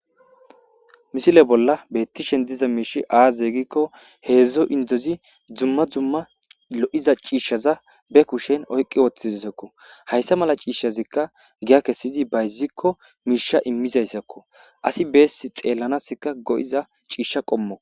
Misile bolla beeththishen diza mishshi aazee giikko heezzu inddethi dumma dumma lo7iza ciishshatha be kushen oyqqi woththizesakko; haysa mala ciishshazikka giya kessidi bayzzikko miishsha imizayssakkoo; asi bessi xaallanaassikka go7iza ciisha qommo.